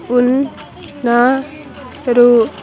ఉ న్నా రు--